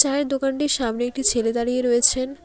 চায়ের দোকানটির সামনে একটি ছেলে দাঁড়িয়ে রয়েছেন।